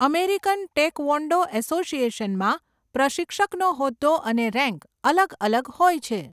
American taekwondo એસોસિએશનમાં, પ્રશિક્ષકનો હોદ્દો અને રેન્ક અલગ અલગ હોય છે.